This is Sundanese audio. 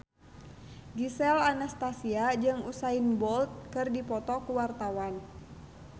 Gisel Anastasia jeung Usain Bolt keur dipoto ku wartawan